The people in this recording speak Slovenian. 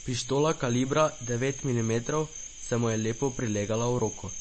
Pištola kalibra devet milimetrov se mu je lepo prilegala v roko.